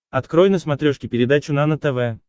открой на смотрешке передачу нано тв